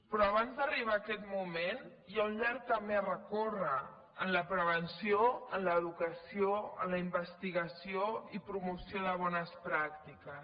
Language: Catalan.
però abans d’arribar a aquest moment hi ha un llarg camí a recórrer en la prevenció en l’educació en la investigació i promoció de bones pràctiques